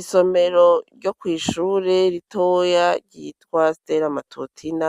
Isomero ryo kw'ishure ritoya ryitwa ster amatotina